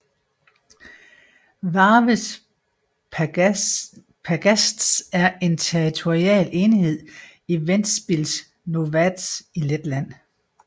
Vārves pagasts er en territorial enhed i Ventspils novads i Letland